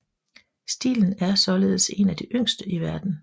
Stilen er således en af de yngste i verden